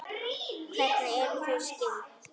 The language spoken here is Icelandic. Hvernig eru þau skyld?